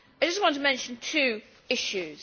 I just want to mention two issues.